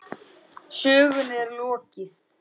Sögunni er ekki lokið.